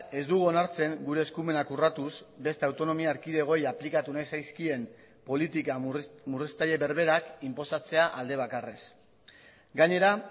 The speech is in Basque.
ez dugu onartzen gure eskumenak urratuz beste autonomia erkidegoei aplikatu nahi zaizkien politika murriztaile berberak inposatzea alde bakarrez gainera